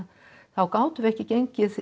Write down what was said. þá gátum við ekki gengið